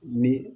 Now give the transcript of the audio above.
Ni